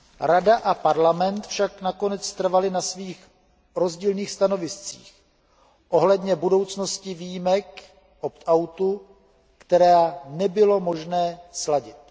Rada a Parlament však nakonec trvaly na svých rozdílných stanoviscích ohledně budoucnosti výjimek, opt outu, která nebylo možné sladit.